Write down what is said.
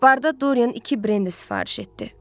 Barda Dorian iki brendi sifariş etdi.